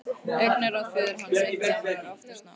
Augnaráð föður hans eitt saman var oftast nóg.